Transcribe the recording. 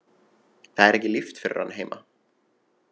Það er ekki líft fyrir hann heima.